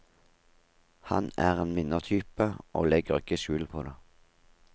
Han er en vinnertype, og legger ikke skjul på det.